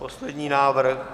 Poslední návrh.